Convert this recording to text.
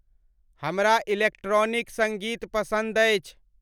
हमरा इलेक्ट्रॉनिक संगीत पसंद आई